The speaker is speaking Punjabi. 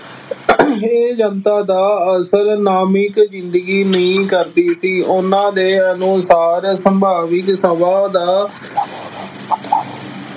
ਇਹ ਜਨਤਾ ਦਾ ਅਸਲ ਨਾਮਿਕ ਜ਼ਿੰਦਗੀ ਨਹੀਂ ਕਰਦੀ ਸੀ। ਉਹਨਾ ਦੇ ਅਨੁਸਾਰ ਸੰਭਾਵਿਕ ਸਭਾ ਦਾ